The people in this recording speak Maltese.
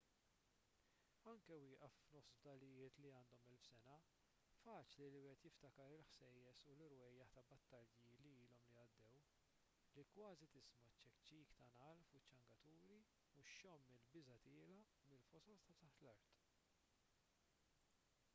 anke wieqaf f'nofs fdalijiet li għandhom elf sena faċli li wieħed jiftakar il-ħsejjes u l-irwejjaħ ta' battalji li ilhom li għaddew li kważi tisma' ċ-ċekċik tan-nagħal fuq iċ-ċangaturi u xxomm il-biża' tiela' mill-fosos ta' taħt l-art